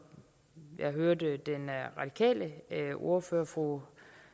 jeg hørte den radikale ordfører fru